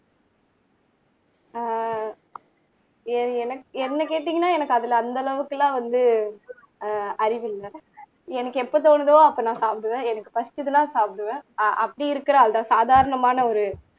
ஆஹ் என் என்ன என்னை கேட்டீங்கன்னா எனக்கு அதுல அந்த அளவுக்கு எல்லாம் வந்து ஆஹ் அறிவு இல்ல எனக்கு எப்ப தோணுதோ அப்ப நான் சாப்பிடுவேன் எனக்கு பசிச்சுதுன்னா சாப்பிடுவேன் ஆஹ் அப்படி இருக்கற ஆள்தான் சாதாரணமான ஒரு